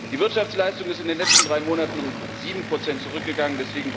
Die Wirtschaftsleistung ist in den letzten drei Monaten um 7 zurückgegangen.